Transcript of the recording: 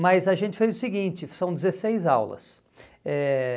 Mas a gente fez o seguinte, são dezesseis aulas. Eh